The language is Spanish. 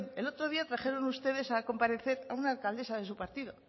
el otro día trajeron ustedes a comparecer a una alcaldesa de su partido